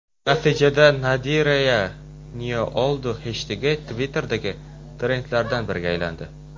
Natijada #NadirayaNeOldu heshtegi Twitter’dagi trendlardan biriga aylandi.